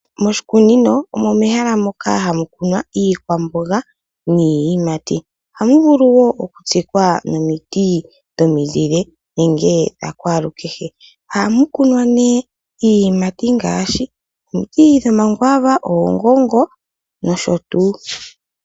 Moshikunino omo mehala moka hamu kunwa iikwamboga niiyimati. Ohamu vulu woo oku tsikwa nomiti dhominzile nenge dhakwaalukehe. Ohamu kunwa nee iiyimati ngaashi, omiti dho makwaava, oongongo, nosho tuu.